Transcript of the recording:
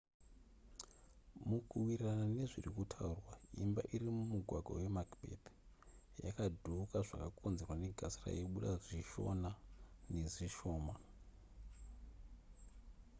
mukuwirirana nezviri kutaurwa imba iri mumugwagwa wemacbeth yakadhuuka zvakakonzerwa negasi raibuda zvishona nezvishoma